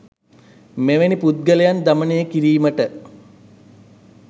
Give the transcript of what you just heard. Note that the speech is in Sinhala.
මෙවැනි පුද්ගලයන් දමනය කිරීමට